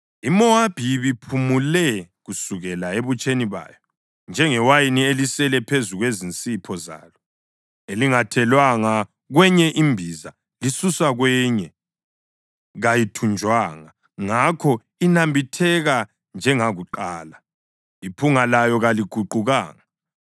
IMowabi ibiphumule kusukela ebutsheni bayo njengewayini elisele phezu kwezinsipho zalo, elingathelwanga kwenye imbiza lisuswa kwenye kayithunjwanga. Ngakho inambitheka njengakuqala, iphunga layo kaliguqukanga.